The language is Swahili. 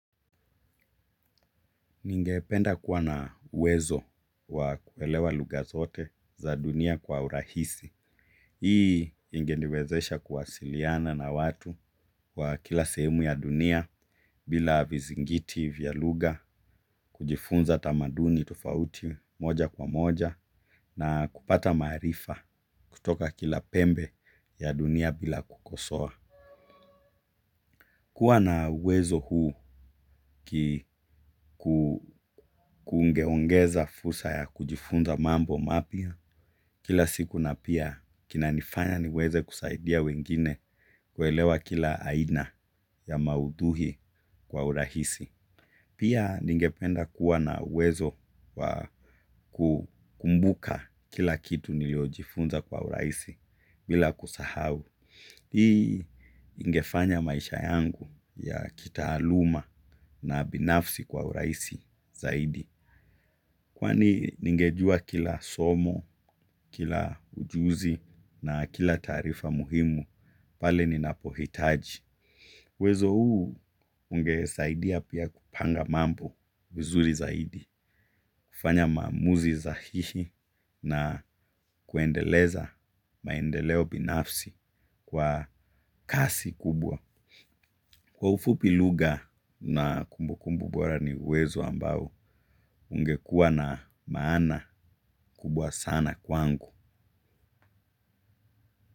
Ningependa kuwa na uwezo wa kuelewa lugha zote za dunia kwa urahisi. Hii ingeniwezesha kuwasiliana na watu wa kila sehemu ya dunia bila vizingiti vya lugha kujifunza tamaduni tofauti moja kwa moja na kupata maarifa kutoka kila pembe ya dunia bila kukosoa. Kuwa na uwezo huu ki kungeongeza fursa ya kujifunza mambo mapya kila siku na pia kina nifanya niweze kusaidia wengine kuelewa kila aina ya maudhii kwa urahisi. Pia ningependa kuwa na uwezo wa kukumbuka kila kitu niliyojifunza kwa urahisi bila kusahau. Hii ingefanya maisha yangu ya kitaaluma na binafsi kwa urahisi zaidi. Kwani ningejua kila somo kila ujuzi na kila taarifa muhimu pale ninapohitaji. Wezo huu ungesaidia pia kupanga mambo vizuri zaidi. Kufanya maamuzi sahihi na kuendeleza maendeleo binafsi kwa kasi kubwa. Kwa ufupi lugha na kumbu kumbu bora ni wezo ambao ungekuwa na maana kubwa sana kwangu.